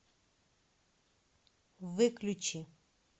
выключи